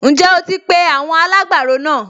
Ǹjẹ́ o ti pe àwọn alágbàro náà?